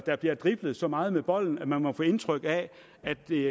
der bliver driblet så meget med bolden at man får indtrykket af at det